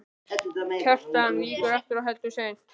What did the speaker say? Kjartan víkur aftur og heldur seint.